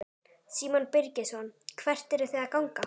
Símon Birgisson: Hvert eruð þið að ganga?